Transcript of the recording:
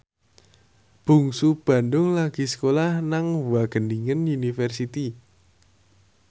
Bungsu Bandung lagi sekolah nang Wageningen University